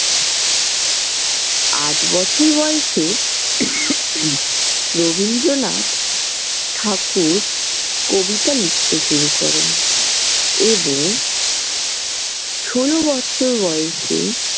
আট বছর বয়সে রবীন্দ্রনাথ ঠাকুর কবিতা লিখতে শুরু করেন এবং ষোল বছর বয়সে।